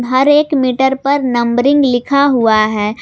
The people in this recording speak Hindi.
हर एक मीटर पर नंबरिंग लिखा हुआ है।